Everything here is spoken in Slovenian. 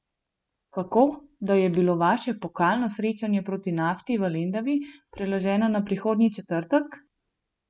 Kako, da je bilo vaše pokalno srečanje proti Nafti v Lendavi preloženo na prihodnji četrtek?